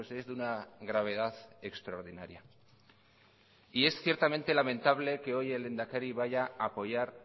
es de una gravedad extraordinaria y es ciertamente lamentable que hoy el lehendakari vaya a apoyar